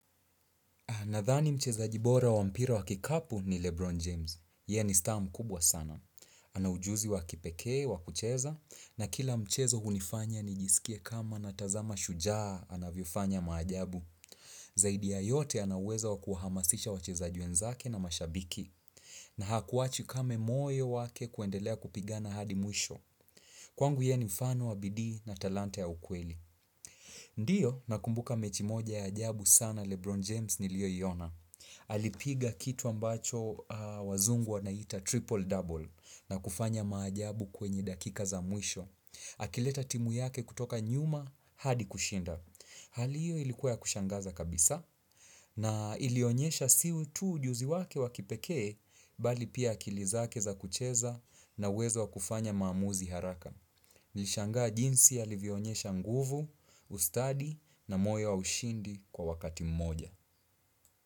Nadhani mchezaji bora wa mpira wa kikapu ni Lebron James. Yeye ni star mkubwa sana. Ana ujuzi wa kipekee wa kucheza, na kila mchezo hunifanya nijisikie kama natazama shujaa anavyofanya maajabu. Zaidi ya yote, ana uwezo wa kuhamazisha wachezaji wenzake na mashabiki. Na hakuwachi kame moyo wake kuendelea kupiga na hadi mwisho. Kwangu, yeye ni mfano wa bidii na talanta ya ukweli. Ndiyo, nakumbuka mechi moja ya ajabu sana ya Lebron James niliyoiona. Alipiga kitu ambacho wazungu wanaiita ''triple double'' na kufanya maajabu kwenye dakika za mwisho Akileta timu yake kutoka nyuma hadi kushinda Hali hiyo ilikuwa ya kushangaza kabisa na ilionyesha sio tu ujuzi wake wakipekee, bali pia akili zake za kucheza na uwezo wakufanya maamuzi haraka Nilishangaa jinsi alivionyesha nguvu, ustadi na moyo wa ushindi kwa wakati mmoja.